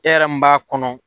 E yɛrɛ mun b'a kɔnɔ.